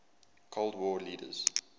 cold war leaders